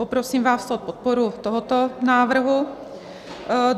Poprosím vás o podporu tohoto návrhu.